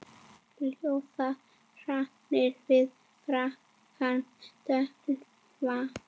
Ljóða hrannir við bakkann dökkva.